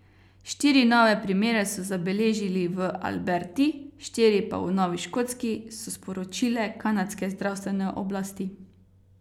Štiri nove primere so zabeležili v Alberti, štiri pa v Novi Škotski, so sporočile kanadske zdravstvene oblasti.